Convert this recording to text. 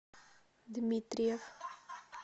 дмитриев